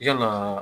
I ka naaa